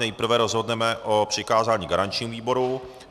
Nejprve rozhodneme o přikázání garančnímu výboru.